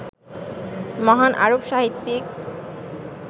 মহান আরব সাহিত্যিক